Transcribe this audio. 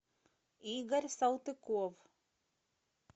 игорь салтыков